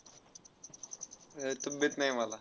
अर तब्येत नाही मला.